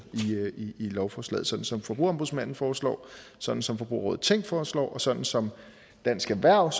i lovforslaget sådan som forbrugerombudsmanden foreslår sådan som forbrugerrådet tænk foreslår og sådan som dansk erhverv